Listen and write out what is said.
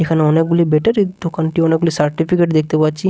এখানে অনেকগুলি ব্যাটারি দোকানটি অনেকগুলি সার্টিফিকেট দেখতে পাচ্ছি।